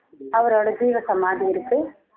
அவரோட ஜீவசமாதி இருக்கு